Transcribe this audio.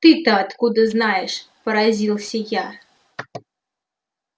ты-то откуда знаешь поразился я